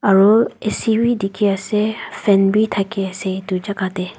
aru bhi dikhi ase fan be thake ase etu jaga teh.